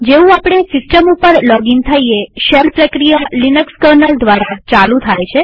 જેવું આપણે સિસ્ટમ ઉપર લોગઇન થઈએ શેલ પ્રક્રિયા લિનક્સ કર્નલ દ્વારા ચાલુ થાય છે